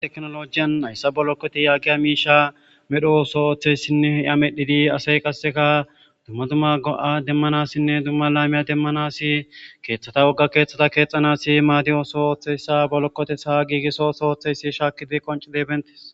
Teknoloojiyan hayssa bolokothessa medho ooso oththeesinne a medhidi asay qassikka dumma dumma demmanaassinne qa dumma dumma laamiyaa demmanaassi keeththatha wogga keeththatha keexxanaassi maaadiyo ooso ooththeessa ha bolokothessa ooththeesi shaakkidi qoncccide beeththhiis.